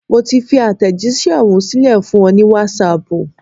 Mo ti fi àtẹ̀jísẹ́ ohùn sílẹ̀ fún ọ ní Wásaàpù